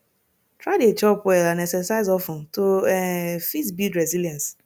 try de chop well and exercise of ten to um fit build resilience